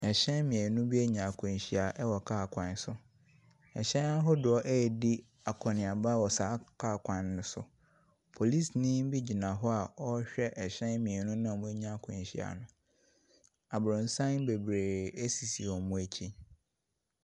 Ahyɛn mmienu bi anya nkwanhyia wɔ kaa kwan so. Hyɛn ahodoɔ redi akɔneaba wɔ saa kaa kwan no so. Polisini bi gyina hɔ a ɔrehwɛ ahyɛn mmienu a wɔanya nkwanhyia no. Aborosan bebree sisi wɔn akyi.